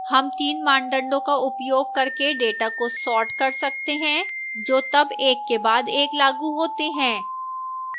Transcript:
हम तीन मानदंडों का उपयोग करके data को sort कर सकते हैं जो तब एक के बाद एक लागू होते हैं